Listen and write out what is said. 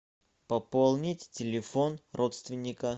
пополнить телефон родственника